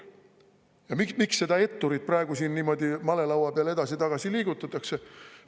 Ja miks seda etturit praegu siin niimoodi malelaua peal edasi-tagasi liigutatakse?